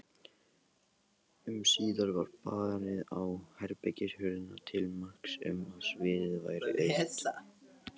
Um síðir var barið á herbergishurðina til marks um að sviðið væri autt.